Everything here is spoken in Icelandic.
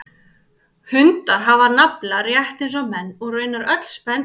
Hundar hafa nafla rétt eins og menn og raunar öll spendýr.